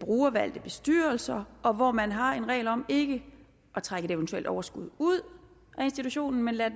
brugervalgte bestyrelser og hvor man har en regel om ikke at trække et eventuelt overskud ud af institutionen men lade